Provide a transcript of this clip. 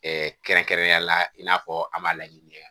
kɛrɛnkɛrɛnnenya la i n'a fɔ an b'a laɲini kɛ